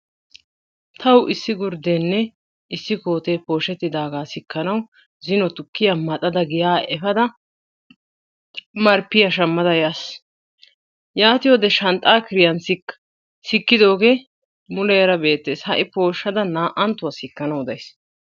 Tawu issi gurddenne issi koottee poshettidaagaa sikkissanawu zino tukkiya maxxada giya efada marppiya shammada yaas. Yaattiyode shanxxaa kiriyan sikkiddoogee muleera beettees hai poshadda naa'anttuwa sikkissanawu days.